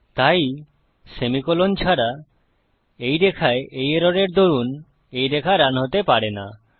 তাই সেমিকোলন ছাড়া এই রেখায় এই এররের দরুন এই রেখা রান হতে পারে না